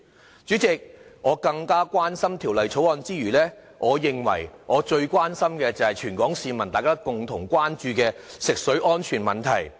代理主席，我關心《條例草案》之餘，我認為我最關心的是全港市民共同關注的食水安全問題。